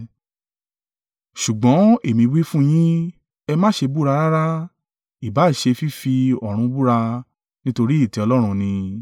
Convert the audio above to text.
Ṣùgbọ́n èmi wí fún yín, ẹ má ṣe búra rárá: ìbá à ṣe fífi ọ̀run búra, nítorí ìtẹ́ Ọlọ́run ni.